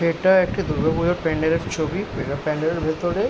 এটা একটি দুর্গাপূজার প্যান্ডেল -এর ছবি এটা প্যান্ডেল -এর ভেতরে--